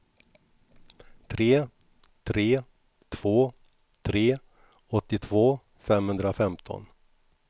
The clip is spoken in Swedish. tre tre två tre åttiotvå femhundrafemton